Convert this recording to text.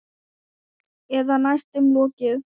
Eða næstum lokið.